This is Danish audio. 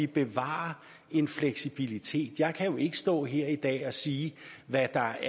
bevare en fleksibilitet jeg kan jo ikke stå her i dag og sige hvad der